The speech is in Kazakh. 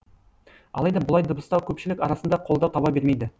алайда бұлай дыбыстау көпшілік арасында қолдау таба бермейді